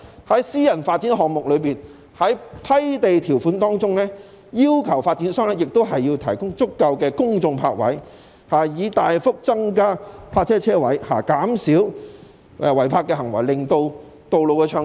在私人發展項目中，批地條款應要求發展商提供足夠的公眾泊位，以大幅增加泊車位數目，減少違泊行為，令道路暢通。